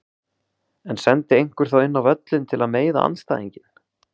En sendi einhver þá inn á völlinn til að meiða andstæðinginn?